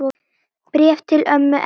Bréf til ömmu Erlu.